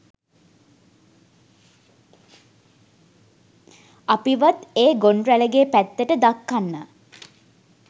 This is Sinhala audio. අපිවත් ඒ ගොන් රැළගේ පැත්තට දක්කන්න